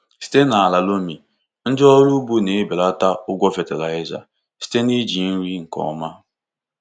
Site n’ala loamy, ndị ọrụ ugbo na-ebelata ụgwọ fatịlaịza site n’iji nri nke ọma.